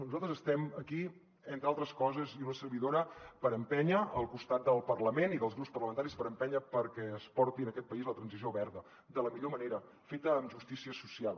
nosaltres estem aquí entre altres coses i una servidora per empènyer al costat del parlament i dels grups parlamentaris per empènyer perquè es porti a aquest país la transició verda de la millor manera feta amb justícia social